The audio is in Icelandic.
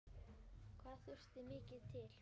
Hvað þurfti mikið til?